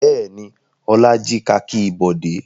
Bẹ́ẹ̀ ni, Ọlá jí kakí Bọ̀dé.